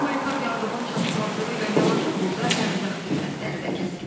Humanitar yardımın çatışmazlığı ilə yanaşı burda ərzaq qiymətləri də kəskin artıb.